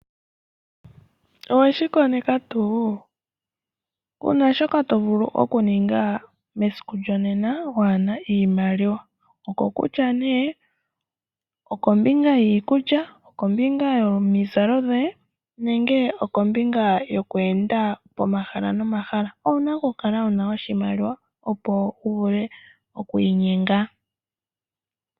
Oweshi koneka tuu? Kuna shoka tovulu okuninga mesiku lyonena, uuna waana oshimaliwa. Okukutya nee okombinga yiikulya, okombinga yomizalo dhoye, nenge okombinga yoku enda komahala nomahala. Owuna okukala wuna oshimaliwa opo wuvule okwiinyenga.